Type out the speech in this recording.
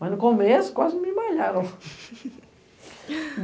Mas, no começo, quase me malharam.